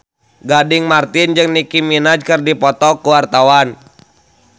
Gading Marten jeung Nicky Minaj keur dipoto ku wartawan